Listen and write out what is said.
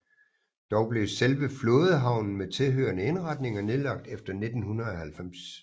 Dog blev selve flådehavnen med tilhørende indretninger nedlagt efter 1990